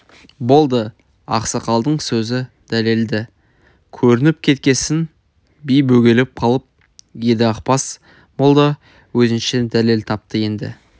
болды ақсақалдың сөзі дәлелді көрініп кеткесін би бөгеліп қалып еді ақбас молда өзінше дәлел тапты енді